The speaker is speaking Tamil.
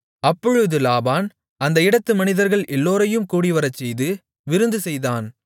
அப்பொழுது லாபான் அந்த இடத்து மனிதர்கள் எல்லோரையும் கூடிவரச்செய்து விருந்துசெய்தான்